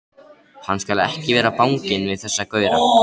Hann skal ekki vera banginn við þessa gaura!